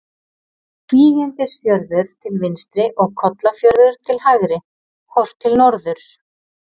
Kvígindisfjörður til vinstri og Kollafjörður til hægri, horft til norðurs.